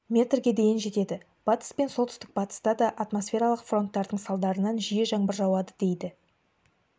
метрге дейін жетеді батыс пен солтүстік батыста да атмосфералық фронттардың салдарынан жиі жаңбыр жауады дейді